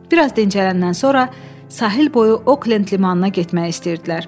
Biraz dincələndən sonra sahil boyu Oklend limanına getmək istəyirdilər.